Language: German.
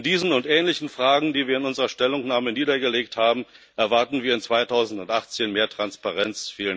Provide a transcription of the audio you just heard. In diesen und ähnlichen Fragen, die wir in unserer Stellungnahme niedergelegt haben, erwarten wir 2018 mehr Transparenz.